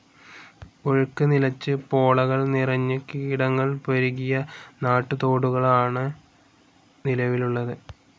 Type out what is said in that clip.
ഒഴുക്ക് നിലച്ച്, പോളകൾ നിറഞ്ഞ്, കീടങ്ങൾ പെരുകിയ നാട്ടുതോടുകളാണ് നിലവിലുള്ളത്.